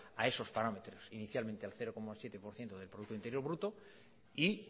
a esos parámetros inicialmente el cero coma siete por ciento del producto interior bruto y